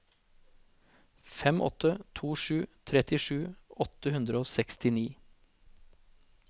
fem åtte to sju trettisju åtte hundre og sekstini